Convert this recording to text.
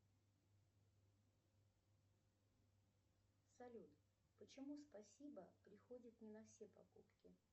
салют почему спасибо приходит не на все покупки